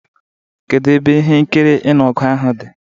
Kedu ebe ihe nkiri ịnụ ọgụ ahụ dị?